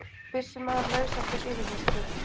Byssumaður laus eftir yfirheyrslu